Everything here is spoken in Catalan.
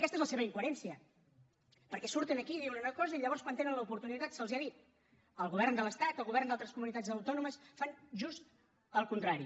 aquesta és la seva incoherència perquè surten aquí i diuen una cosa i llavors quan en tenen l’oportunitat se’ls ha dit el govern de l’estat el govern d’altres comunitats autònomes fan just el contrari